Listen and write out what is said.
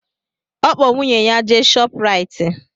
Ọ kpọ nwunye ya jee Shọprayiti